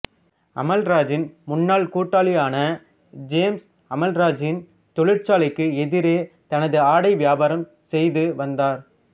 அமல்ராஜின் முன்னாள் கூட்டாளியான ஜேம்ஸ் அமல்ராஜின் தொழிற்சாலைக்கு எதிரே தனது ஆடை வியாபாரம் செய்து வந்தார்